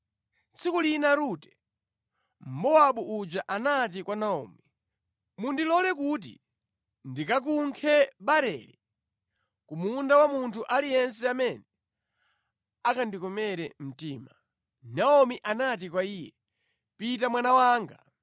Tsiku lina Rute, Mmowabu uja anati kwa Naomi, “Mundilole kuti ndikakunkhe barele ku munda wa munthu aliyense amene akandikomere mtima.” Naomi anati kwa iye, “Pita mwana wanga.”